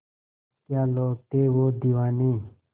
क्या लोग थे वो दीवाने